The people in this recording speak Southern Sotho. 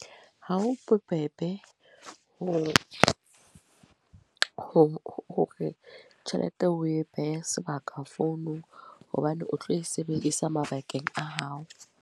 Ha ho bobebe ho, ho hore tjhelete eo o e behe sebaka founong. Hobane o tlo e sebedisa mabakeng a hao.